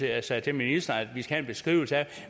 jeg sagde til ministeren at vi skal have en beskrivelse af